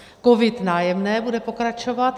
COVID - Nájemné bude pokračovat.